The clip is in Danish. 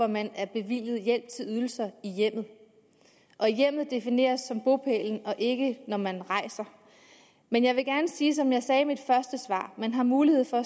man er bevilget hjælp til ydelser i hjemmet og hjemmet defineres som bopælen og ikke når man rejser men jeg vil gerne sige som jeg sagde i mit første svar man har mulighed for